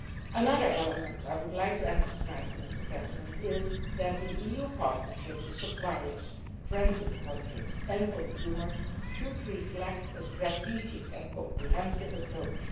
Another element I would like to emphasise is that the EU partnerships with suppliers, transit countries and consumers should reflect a strategic and comprehensive approach.